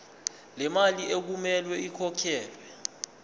lemali okumele ikhokhelwe